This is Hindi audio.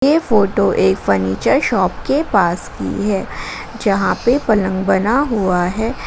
ये फोटो एक फर्नीचर शॉप के पास की है जहां पे पलंग बना हुआ है।